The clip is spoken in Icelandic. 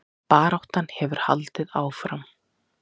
Baráttan hefur haldið áfram